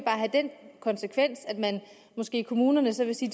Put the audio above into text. have den konsekvens at man måske i kommunerne så vil sige